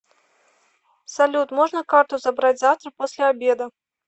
салют можно карту забрать завтра после обеда